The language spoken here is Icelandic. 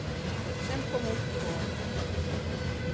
sem kom út í vor.